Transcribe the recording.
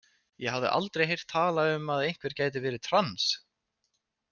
Ég hafði aldrei heyrt talað um að einhver gæti verið trans.